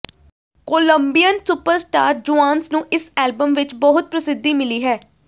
Colombian superstar Juanes ਨੂੰ ਇਸ album ਵਿੱਚ ਬਹੁਤ ਪ੍ਰਸਿੱਧੀ ਮਿਲੀ ਹੈ